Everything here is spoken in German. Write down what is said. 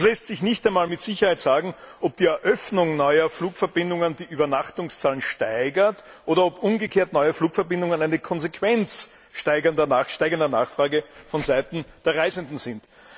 Es lässt sich nicht einmal mit Sicherheit sagen, ob die Eröffnung neuer Flugverbindungen die Übernachtungszahlen steigert, oder ob umgekehrt neue Flugverbindungen eine Konsequenz steigender Nachfrage vonseiten der Reisenden sind.